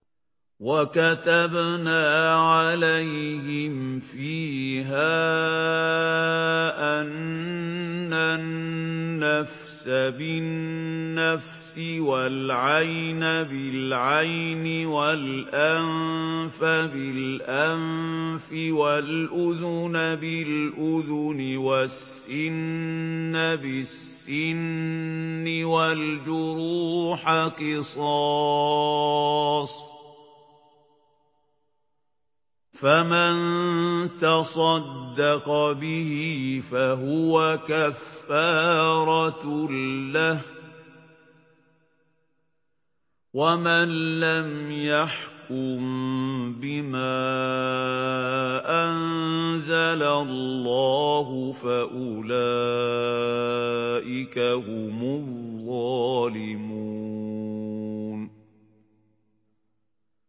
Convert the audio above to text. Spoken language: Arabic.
وَكَتَبْنَا عَلَيْهِمْ فِيهَا أَنَّ النَّفْسَ بِالنَّفْسِ وَالْعَيْنَ بِالْعَيْنِ وَالْأَنفَ بِالْأَنفِ وَالْأُذُنَ بِالْأُذُنِ وَالسِّنَّ بِالسِّنِّ وَالْجُرُوحَ قِصَاصٌ ۚ فَمَن تَصَدَّقَ بِهِ فَهُوَ كَفَّارَةٌ لَّهُ ۚ وَمَن لَّمْ يَحْكُم بِمَا أَنزَلَ اللَّهُ فَأُولَٰئِكَ هُمُ الظَّالِمُونَ